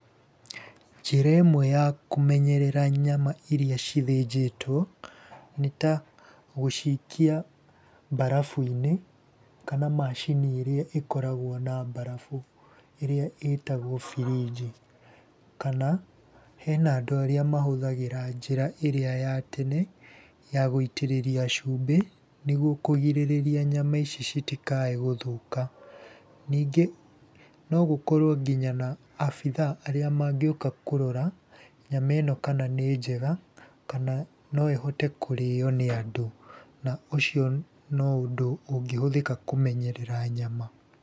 Njĩra ĩmwe ya kũmenyerera nyama iria cithĩnjĩtwo, nĩ ta gũcikia mbarabu-inĩ, kana macini ĩrĩa ĩkoragwo na mbarabu. ĩrĩa ĩtagwo birinji, kana hena andũ arĩa mahũthagĩra njĩra ĩrĩa ya tene ya gũitĩríĩria cumbĩ nĩguo kũgirĩrĩria nyama ici citikae gũthũka. Ningĩ no gũkorwo nginya na abithaa arĩa mangĩũka kũrora nyama ĩno kana nĩ njega kana no ĩhote kũrĩo nĩ andũ. Na ũcio no ũndũ ũngĩhũthĩka kũmenyerera nyama.